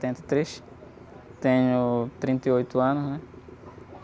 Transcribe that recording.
e três, tenho trinta e oito anos, né?